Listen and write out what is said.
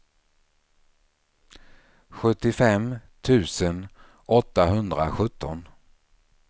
sjuttiofem tusen åttahundrasjutton